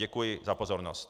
Děkuji za pozornost.